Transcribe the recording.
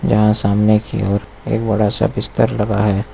यहां सामने की ओर एक बड़ा सा बिस्तर लगा है।